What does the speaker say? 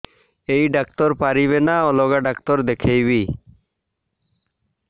ଏଇ ଡ଼ାକ୍ତର ପାରିବେ ନା ଅଲଗା ଡ଼ାକ୍ତର ଦେଖେଇବି